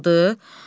Deməli qaldı.